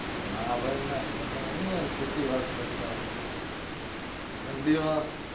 ના ભાઈ ના તમે હું યાર ખોટી વાત કરતા હો ઠંડીમાં